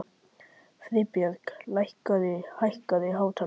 Friðbjörg, hækkaðu í hátalaranum.